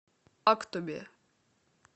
актобе